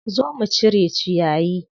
Zo mu cire ciyayi.